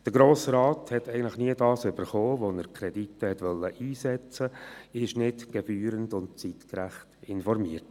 Der Grosse Rat hat eigentlich nie das erhalten, wofür er die Kredite einsetzen wollte, und wurde nicht gebührend und zeitgerecht informiert.